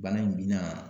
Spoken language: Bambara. Bana in bi na